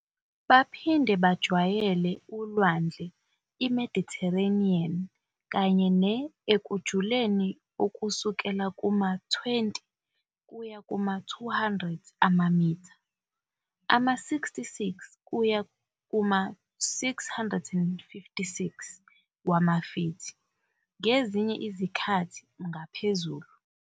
Baphinde bajwayele uLwandle iMedithereniyeni kanye ne- ekujuleni okusukela kuma- 20 kuya kuma- 200 amamitha, ama-66 kuya kuma- 656 wamafithi, ngezinye izikhathi nangaphezulu.